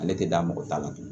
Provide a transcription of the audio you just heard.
Ale tɛ da mɔgɔ ta la